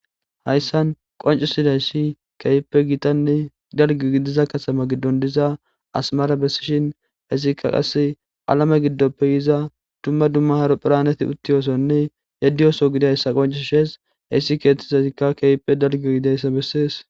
hayssan qoncisidayssi keyppe gitanne dalgo gidiza katama giddon diza asmara bessishin hesikka qasse alame giddoppeyiza dumma dumma haro phiraneti uttiyoosonne yaddiyoso gidayssa qonci shees heissi keettizazikka keyppe dalge gidayssa bessees